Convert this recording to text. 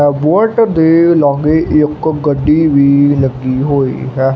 Bullet ਦੇ ਲਾਗੇ ਇੱਕ ਗੱਡੀ ਲੱਗੀ ਹੋਈ ਹੈ।